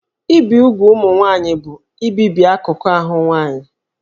Ibi úgwù ụmụ nwaanyị bụ ibibi akụkụ ahụ nwanyị